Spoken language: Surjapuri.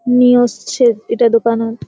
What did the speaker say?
निओस छे इरा दोकानोत।